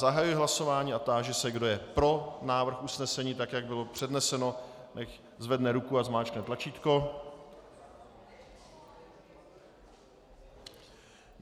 Zahajuji hlasování a táži se, kdo je pro návrh usnesení, tak jak bylo předneseno, nechť zvedne ruku a zmáčkne tlačítko.